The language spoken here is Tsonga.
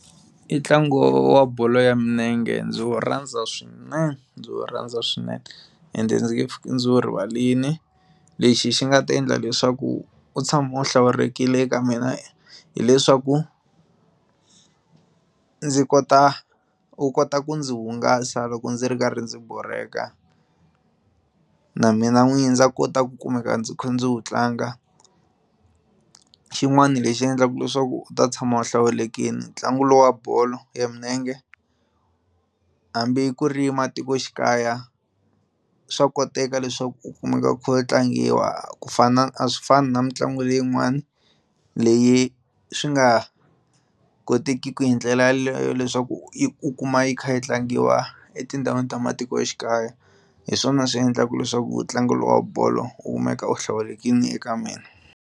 I ntlangu wa wa bolo ya milenge ndzi wu rhandza swinene ndzi wu rhandza swinene ende ndzi nge pfuke ndzi wu rivarile lexi xi nga ta endla leswaku wu tshama wu hlawulekile eka mina hileswaku ndzi kota wu kota ku ndzi hungasa loko ndzi ri karhi ndzi borheka na mina n'wini ndza kota ku kumeka ndzi kha ndzi wu tlanga xin'wana lexi endlaka leswaku wu ta tshama wu hlawulekile ntlangu lowu wa bolo ya milenge hambi ku ri matikoxikaya swa koteka leswaku ku kumeka ku kha ku tlangiwa ku fana a swi fani na mitlangu leyin'wani leyi swi nga kotekiki hi ndlela yaleyo leswaku i u kuma yi kha yi tlangiwa etindhawini ta matikoxikaya hi swona swi endlaka leswaku tlangu lowa bolo wu kumeka wu hlawulekile eka mina.